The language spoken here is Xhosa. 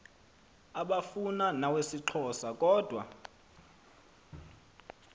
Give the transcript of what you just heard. abufana nawesixhosa kodwa